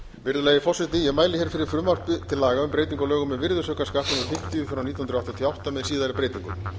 virðulegi forseti ég mæli hér fyrir frumvarpi til laga um breytingu á lögum virðisaukaskatt númer fimmtíu nítján hundruð áttatíu og átta með síðari breytingum